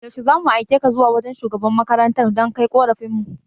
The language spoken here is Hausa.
Yaushe zuma aikeka zuwa wajan shugaban makarantar dan kai korafin mu?